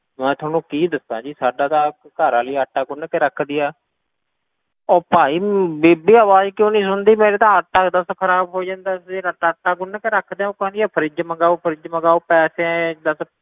ਮੈਂ ਤੁਹਾਨੂੰ ਕੀ ਦੱਸਾਂ ਜੀ ਸਾਡਾ ਤਾਂ ਘਰ ਵਾਲੀ ਆਟਾ ਗੁੰਨ ਕੇ ਰੱਖਦੀ ਆ ਉਹ ਭਾਈ ਬੀਬੀ ਆਵਾਜ਼ ਕਿਉਂ ਨੀ ਸੁਣਦੀ ਮੇਰਾ ਤਾਂ ਆਟਾ ਦੁੱਧ ਖ਼ਰਾਬ ਹੋਈ ਜਾਂਦਾ, ਜਿਹੜਾ ਆਟਾ ਗੁੰਨ ਕੇ ਰੱਖਦੇ ਹਾਂ ਉਹ ਕਹਿੰਦੀ ਆ fridge ਮੰਗਵਾਓ fridge ਮੰਗਵਾਓ ਪੈਸੇ ਦੱਸ